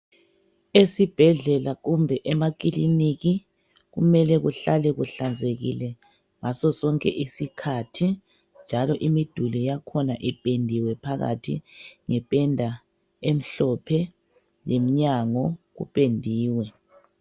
Esibhedlela kumbe emakiliniki kumele kuhlale kuhlanzekile ngaso sonke isikhathi njalo imiduli yakhona ipendiwe phakathi ngependa emhlophe nemnyango kupendiwe.